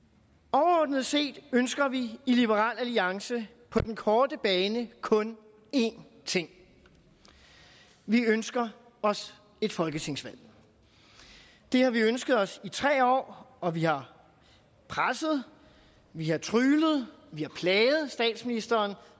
overordnet set ønsker vi i liberal alliance på den korte bane kun én ting vi ønsker os et folketingsvalg det har vi ønsket os i tre år og vi har presset vi har tryglet vi har plaget statsministeren